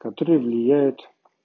которые влияют